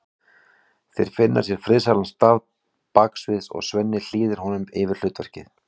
Þeir finna sér friðsælan stað baksviðs og Svenni hlýðir honum yfir hlutverkið.